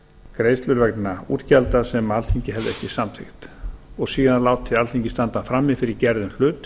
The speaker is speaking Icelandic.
greiðslur vegna útgjalda sem alþingi hefði ekki samþykkt og síðan látið alþingi standa frammi fyrir gerðum hlut